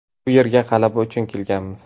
Bu yerga g‘alaba uchun kelganmiz.